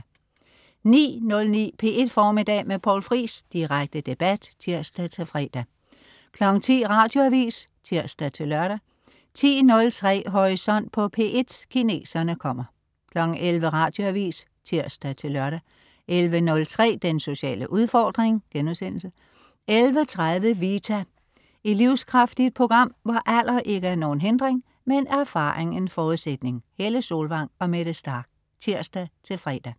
09.09 P1 Formiddag med Poul Friis. Direkte debat (tirs-fre) 10.00 Radioavis (tirs-lør) 10.03 Horisont på P1: Kineserne kommer 11.00 Radioavis (tirs-lør) 11.03 Den sociale udfordring* 11.30 Vita. Et livskraftigt program, hvor alder ikke er nogen hindring, men erfaring en forudsætning. Helle Solvang og Mette Starch (tirs-fre)